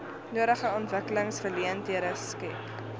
nodige ontwikkelingsgeleenthede skep